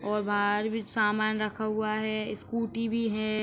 और बाहर भी सामान रखा हुआ है। स्कूटी भी है।